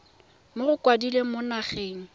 mo go mokwaledi mo nageng